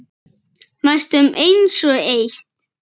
Næstum einsog eitt.